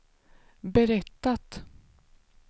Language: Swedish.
berättat